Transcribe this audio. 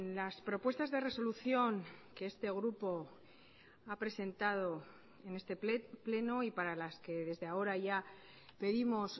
las propuestas de resolución que este grupo ha presentado en este pleno y para las que desde ahora ya pedimos